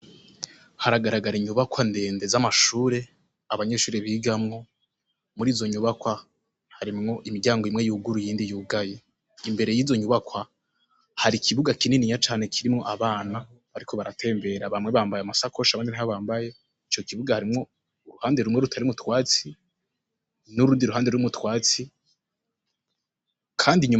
Haragara gara inyubakwa ndende za mashure , abanyeshure bigamwo muri izonyubakwa , harimwo imiryango imwe yuguruye iyindi yugaye , mbere yizo nyubakwa hari ikibuga kinini cane kirimwo abana bariko baratembera bamwe bambaye amasakoshi abandi ntayo bambaye ,ico kibuga harimwo uruhande rumwe rutarimwo utwatsi nurundi ruhande rurimwo utwatsi Kandi inyuma